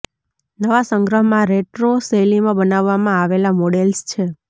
નવા સંગ્રહમાં રેટ્રો શૈલીમાં બનાવવામાં આવેલા મોડેલ્સ છે